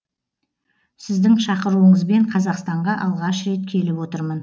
сіздің шақыруыңызбен қазақстанға алғаш рет келіп отырмын